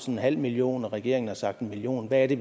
en halv million og regeringen har sagt en million hvad er det